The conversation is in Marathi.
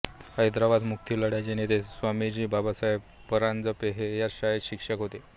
हैदराबाद मुक्तीलढ्याचे नेते स्वामीजी बाबासाहेब परांजपे हे याच शाळेत शिक्षक होते